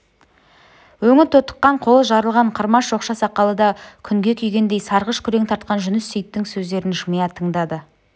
өңі тотыққан қолы жарылған қырма шоқша сақалы да күнге күйгендей сарғыш күрең тартқан жүніс сейіттің сөздерін жымия тыңдады